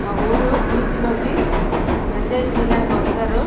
ఈ ఊరు బీచ్ లోకి ఎంజాయ్ చేయడనికి వస్తారు.